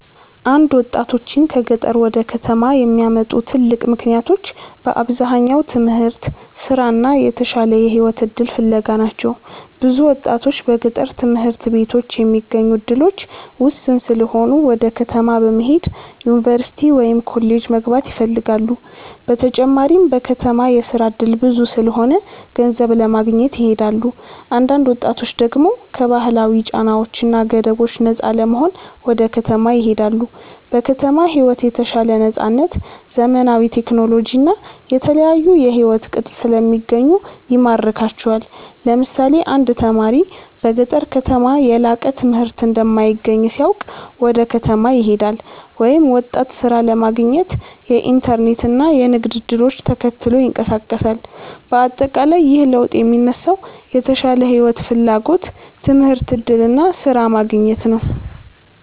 1ወጣቶችን ከገጠር ወደ ከተማ የሚያመጡ ትልቅ ምክንያቶች በአብዛኛው ትምህርት፣ ስራ እና የተሻለ የህይወት እድል ፍለጋ ናቸው። ብዙ ወጣቶች በገጠር ትምህርት ቤቶች የሚገኙ እድሎች ውስን ስለሆኑ ወደ ከተማ በመሄድ ዩኒቨርሲቲ ወይም ኮሌጅ መግባት ይፈልጋሉ። በተጨማሪም በከተማ የስራ እድል ብዙ ስለሆነ ገንዘብ ለማግኘት ይሄዳሉ። አንዳንድ ወጣቶች ደግሞ ከባህላዊ ጫናዎች እና ገደቦች ነፃ ለመሆን ወደ ከተማ ይሄዳሉ። በከተማ ሕይወት የተሻለ ነፃነት፣ ዘመናዊ ቴክኖሎጂ እና የተለያዩ የሕይወት ቅጥ ስለሚገኙ ይማርካቸዋል። ለምሳሌ አንድ ተማሪ በገጠር ከተማ የላቀ ትምህርት እንደማይገኝ ሲያውቅ ወደ ከተማ ይሄዳል፤ ወይም ወጣት ሥራ ለማግኘት የኢንተርኔት እና የንግድ እድሎችን ተከትሎ ይንቀሳቀሳል። በአጠቃላይ ይህ ለውጥ የሚነሳው የተሻለ ሕይወት ፍላጎት፣ ትምህርት እድል እና ስራ ማግኘት ነው።